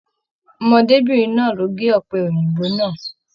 Ọmọdébinrin náa lo ge ọpẹ Òyìnbó náà.